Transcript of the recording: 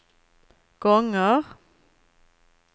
gånger